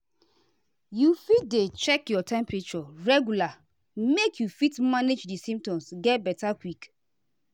you fit dey check your temperature regular make you fit manage di symptoms get beta quick.